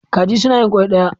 Kaji suna yin ƙwai kaɗan.